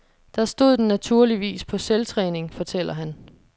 Der stod den naturligvis på selvtræning, fortæller han.